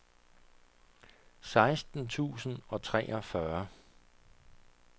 seksten tusind og treogfyrre